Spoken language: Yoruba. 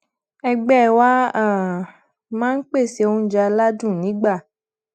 ẹgbẹ wa um máa ń pèsè oúnjẹ aládùn nígbà